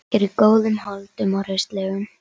Er í góðum holdum og hraustleg.